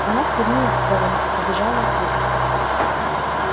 она свернула в сторону и побежала от туда